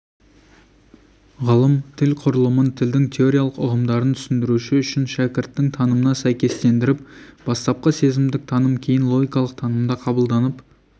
ғалым тіл құрылымын тілдің теориялық ұғымдарын түсіндіру үшін шәкірттің танымына сәйкестендіріп бастапқы сезімдік таным кейін логикалық танымда қабылданып